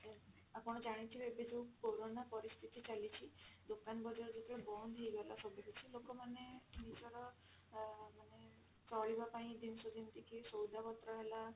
ଆପଣ ଜାଣିଥିବେ ଏବେ ଯଉ କୋରୋନା ପରିସ୍ଥିତି ଚାଲିଛି ଦୋକାନ ବଜାର ଯେତେବେଳେ ବନ୍ଦ ହେଇଗଲା ସବୁକିଛି ଲୋକ ମାନେ ନିଜର ଅ ମାନେ ଚଳିବା ପାଇଁ ଜିନିଷ ଯେମିତି କି ସଉଦା ପତ୍ର ହେଲା